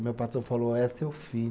O meu patrão falou, ó, é seu filho.